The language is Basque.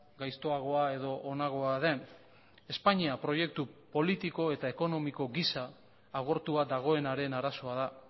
gaiztoagoa edo onagoa den espainia proiektu politiko eta ekonomiko gisa agortua dagoenaren arazoa da